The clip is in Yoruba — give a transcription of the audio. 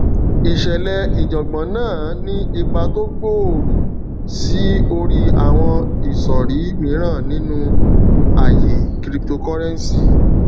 ìṣẹlẹ ìjàngbòn náà ní ipa tó gbòòrò sí orí àwọn ìsòrí mìíràn nínú àyè cryptocurrency